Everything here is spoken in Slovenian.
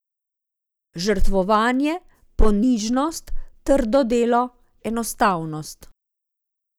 Žrtvovanje, ponižnost, trdo delo, enostavnost.